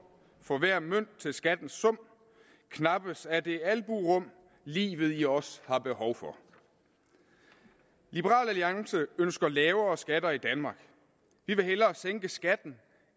for hver mønt til skattens sum knappes af det alburum livet i os har behov for liberal alliance ønsker lavere skatter i danmark vi vil hellere sænke skatten